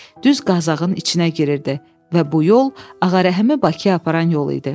Düz Qazağın içinə girirdi və bu yol Ağarəhimi Bakıya aparan yol idi.